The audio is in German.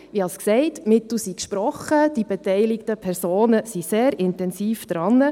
Ich habe es gesagt, die Mittel sind gesprochen, die beteiligten Personen sind sehr intensiv dran.